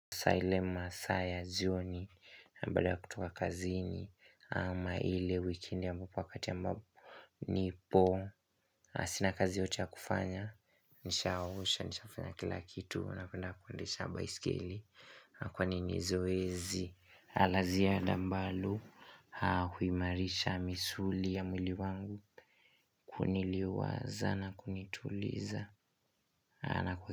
Saa ile masaa ya jioni, na baada ya kutoka kazini, ama ile wikendi ambapo wakati ya ambapo nipo Sina kazi yoyote ya kufanya, nisha osha, nisha fanya kila kitu na kuenda kundesha baiskeli Kwani ni zoezi, laziada ambalo huimarisha misuli ya mwili wangu kuniliwaza na kunituliza.